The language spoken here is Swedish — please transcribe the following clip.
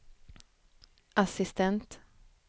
assistent